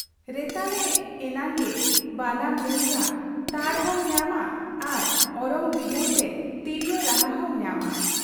ᱨᱮᱛᱟᱞᱮ ᱮᱱᱟᱝᱜᱮ ᱵᱟᱱᱟᱢ ᱨᱩ ᱨᱮᱭᱟᱜ ᱛᱟᱲ ᱦᱚᱸᱢ ᱧᱟᱢᱟ ᱟᱨ ᱚᱨᱚᱝ ᱵᱤᱰᱟᱹᱣ ᱛᱮ ᱛᱤᱨᱭᱚ ᱨᱟᱦᱟᱦᱚᱸᱢ ᱧᱟᱢᱟ ᱾